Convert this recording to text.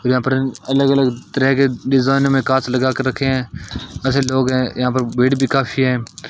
यहां पर अलग अलग तरह के डिजाइन में कांच लगाकर रखे हैं अच्छे लोग हैं यहां पर बेड भी काफी है।